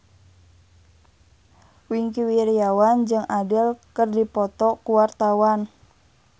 Wingky Wiryawan jeung Adele keur dipoto ku wartawan